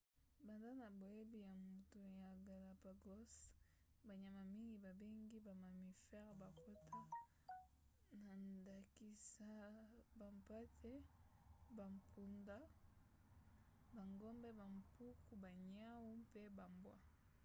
banda na boyei ya moto ya galapagos banyama mingi babengi ba mammifères bakota na ndakisa bampate bampunda bangombe bampuku baniau mpe bambwa